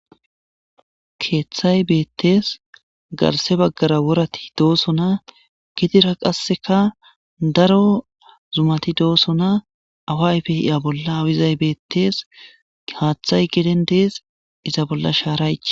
Keeththay beettees garse baggara worati dooso na gidira qasseka daro zumati doosona awayfe hiya bolla awizay beettees haaththay geden dees iza bolla shaaraye.